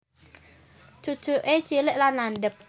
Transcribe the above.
Cucuke cilik lan landhep